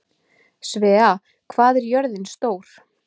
Svea, hvað er jörðin stór?